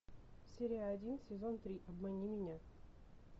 серия один сезон три обмани меня